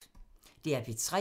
DR P3